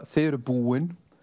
þið eruð búin